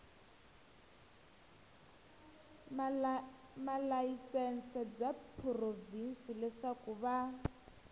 malayisense bya provhinsi leswaku va